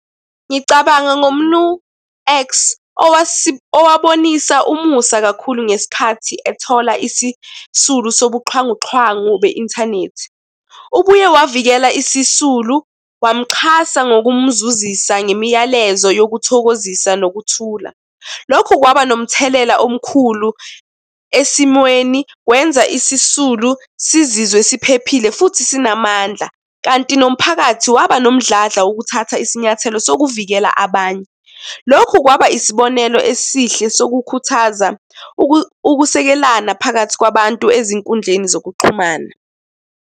Ngicabanga ngoMnu X, owabonisa umusa kakhulu ngesikhathi ethola isisulu sobuxhwanguxhwangu be-inthanethi. Ubuye wavikela isisulu wamuxhasa ngokumzuzisa ngemiyalezo yokuthokozisa nokuthula. Lokhu kwaba nomthelela omkhulu esimweni, kwenza isisulu sizizwe siphephile, futhi sinamandla kanti nomphakathi waba nomdladla wokuthatha isinyathelo sokuvikela abanye. Lokhu kwaba isibonelo esihle sokukhuthaza ukusekelana phakathi kwabantu ezinkundleni zokuxhumana.